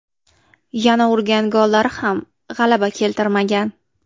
Yana urgan gollari ham g‘alaba keltirmagan.